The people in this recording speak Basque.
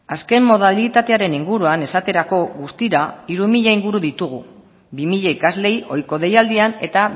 azken modalitatearen inguruan esaterako guztira hiru mila inguru ditugu bi mila ikasleei ohiko deialdian eta